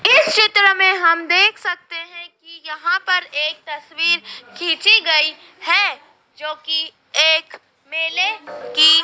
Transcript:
इस चित्र में हम देख सकते हैं कि यहां पर एक तस्वीर खींची गई है जो कि एक मेले की--